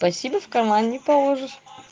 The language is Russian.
спасибо в карман не положишь